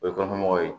O ye kɔnɔmɔgɔw ye